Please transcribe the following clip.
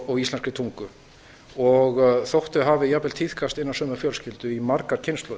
og íslenskri tungu og þó þau hafi jafnvel tíðkast innan sömu fjölskyldu í margar kynslóðir